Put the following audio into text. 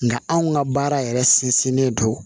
Nka anw ka baara yɛrɛ sinsinnen don